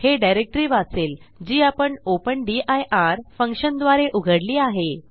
हे डिरेक्टरी वाचेल जी आपण ओपन दिर फंक्शनद्वारे उघडली आहे